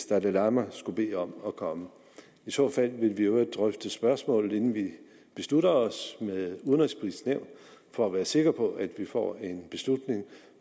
dalai lama skulle bede om at komme i så fald vil vi i øvrigt drøfte spørgsmålet inden vi beslutter os med det udenrigspolitiske nævn for at være sikre på at vi får en beslutning